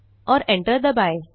और एंटर दबाएँ